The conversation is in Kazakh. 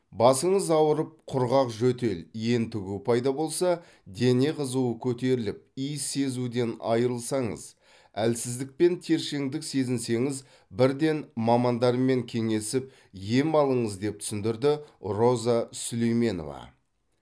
басыңыз ауырып құрғақ жөтел ентігу пайда болса дене қызуы көтеріліп иіс сезуден айырылсаңыз әлсіздік пен тершеңдік сезінсеңіз бірден мамандармен кеңесіп ем алыңыз деп түсіндірді роза сүлейменова